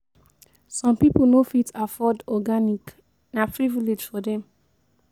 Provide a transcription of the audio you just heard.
Some pipo no fit afford organic; na privilege for dem.